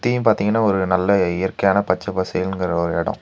சுத்தியு பாத்தீங்கன்னா ஒரு நல்ல இயற்கையான பச்சப் பசேல்ங்குற ஒரு எடோ.